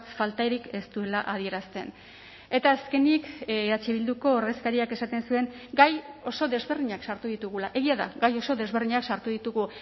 faltarik ez duela adierazten eta azkenik eh bilduko ordezkariak esaten zuen gai oso desberdinak sartu ditugula egia da gai oso desberdinak sartu ditugu